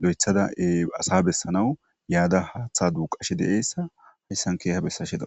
do7ethadae asa bessanawu yaada haaththa duuqashi de7eessa hayssan keeha bessasheda.